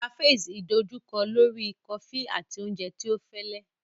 Cafes idojukọ lori kofi ati oúnjẹ tí ọ fẹlẹ.